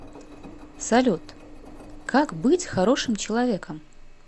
салют как быть хорошим человеком